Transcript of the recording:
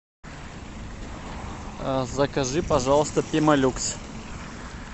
закажи пожалуйста пемолюкс